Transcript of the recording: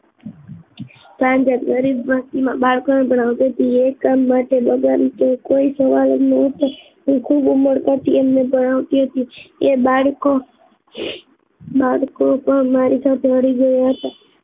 સાંજે ભક્તિ માં બાળકો એકમ બગન કોઈ સવાલ હું ખુબ મળવા આવતી હતી એ બાળકો બાળકો પણ મારી સાથે ભળી ગયા